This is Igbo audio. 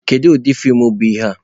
Kedu ụdị feem bụ ihe a?